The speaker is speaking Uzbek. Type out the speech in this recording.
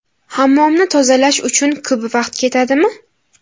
Hammomni tozalash uchun ko‘p vaqt ketadimi?